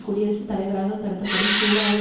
குடியரசு தலைவராக கருதப்படும் சூமாவை